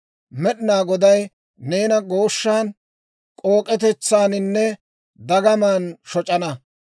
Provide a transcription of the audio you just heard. Med'inaa Goday neena gooshshan, k'ook'etetsaaninne dagamaan shoc'ana.